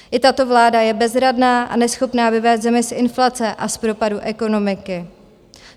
I tato vláda je bezradná a neschopná vyvést zemi z inflace a z propadu ekonomiky.